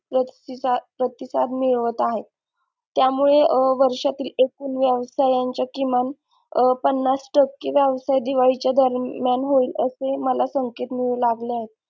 प्रतिसाद प्रतिसाद मिळवत आहेत त्यामुळे वर्षातील एकूण व्यवसायांच्या किमान पन्नास टक्के व्यवसाय दिवाळीच्या दरम्यान होईल असे मला संकेत मिळू लागले आहेत.